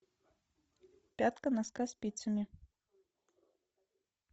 пятка носка спицами